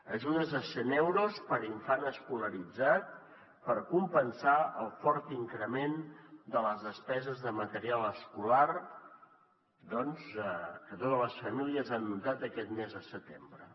ajudes de cent euros per infant escolaritzat per compensar el fort increment de les despeses de material escolar doncs que totes les famílies han notat aquest mes de setembre